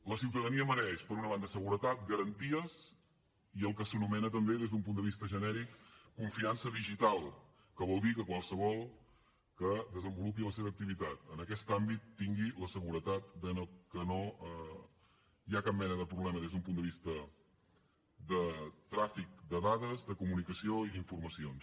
la ciutadania mereix per una banda seguretat garanties i el que s’anomena també des d’un punt de vista genèric confiança digital que vol dir que qualsevol que desenvolupi la seva activitat en aquest àmbit tingui la seguretat de que no hi ha cap mena de problema des d’un punt de vista de tràfic de dades de comunicació i d’informacions